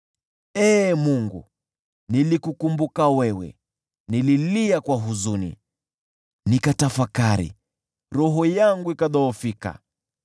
Ee Mungu, nilikukumbuka wewe, nikalia kwa huzuni; nikatafakari, roho yangu ikadhoofika.